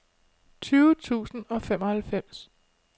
tyve tusind og femoghalvfems